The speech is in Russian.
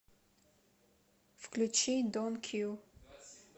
включи дон кью